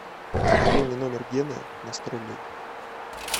пополни номер гены на сто рублей